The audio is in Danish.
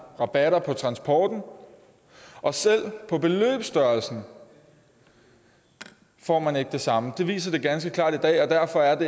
rabatter på transporten og selv om beløbsstørrelsen får man ikke det samme det viser sig ganske klart i dag og derfor er